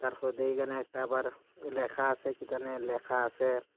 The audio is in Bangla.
তারপর দেহি এখানে একটা আবার লেখা আসে কিতানি লেখা আসে।